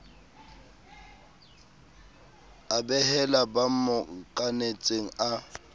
a behela ba mmokanetseng a